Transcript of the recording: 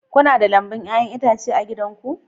Kuna da lambun 'ya'yan itace a gidanku